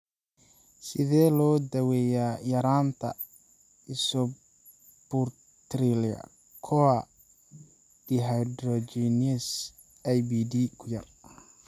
Sidee loo daweeyaa yaraanta isobutyryl CoA dehydrogenase (IBD kuyaar)?